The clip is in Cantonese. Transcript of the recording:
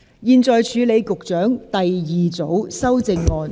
現在處理局長的第二組修正案，即新訂條文。